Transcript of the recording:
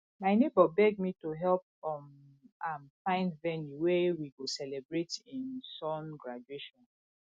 my nebor beg me to help um am find venue wey we go celebrate him son graduation